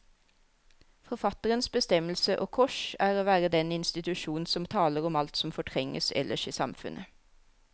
Forfatterens bestemmelse, og kors, er å være den institusjon som taler om alt som fortrenges ellers i samfunnet.